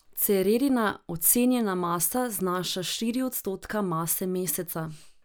Cererina ocenjena masa znaša štiri odstotka mase Meseca.